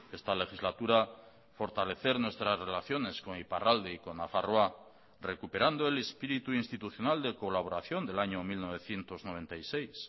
esta legislatura fortalecer nuestras relaciones con iparralde y con nafarroa recuperando el espíritu institucional de colaboración del año mil novecientos noventa y seis